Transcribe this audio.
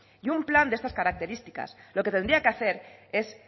y un plan de estas características lo que tendría que hacer es